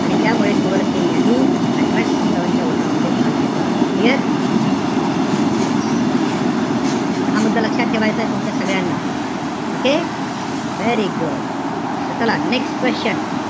आणि त्यामुळे कुवरसिंग यांनी अठराशे सत्तावानच्या उठावामध्ये भाग घेतला होता. Clear? हा, yes. त हा मुद्दा लक्षात ठेवायचाय तुमच्या सगळ्यांना. Okay? Very good. त चला next question.